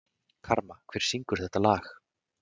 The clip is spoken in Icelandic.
Karma, hver syngur þetta lag?